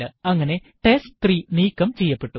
അങ്ങനെ ടെസ്റ്റ്3 നീക്കം ചെയ്യപ്പെട്ടു